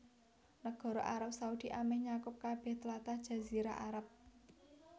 Nagara Arab Saudi amèh nyakup kabèh tlatah Jazirah Arab